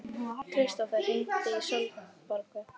Kristófer, hringdu í Sólborgu.